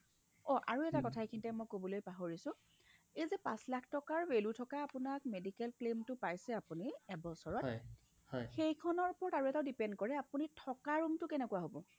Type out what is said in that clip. অ, আৰু এটা কথা মই এইখিনিতে ক'বলৈ পাহৰিছো এই যে পাচ লাখ টকাৰ value থকা medical claim টো পাইছে আপুনি এবছৰত সেইখনৰ ওপৰত আৰু এটা depend কৰে আপুনি থকা room টো কেনেকুৱা হ'ব